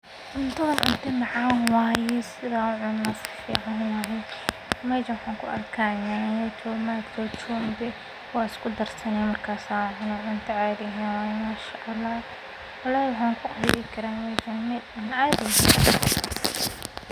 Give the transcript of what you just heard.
marka uu qofku sarren cunayo si joogto ah wuxuu dareemayaa baahi yar oo uu u qabo cunnooyinka kale sida kuwa ay ku badan tahay istaarijku taasoo ay ka mid yihiin rootiga cad, baastada, iyo baradhada gaar ahaan marka aan la raacin khudaar ama borotiin